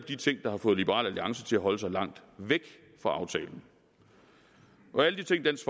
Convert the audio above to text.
de ting der har fået liberal alliance til at holde sig langt væk fra aftalen alle de ting dansk